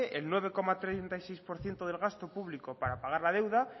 el nueve coma treinta y seis por ciento del gasto público para pagar la deuda